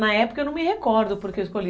Na época eu não me recordo porque eu escolhi.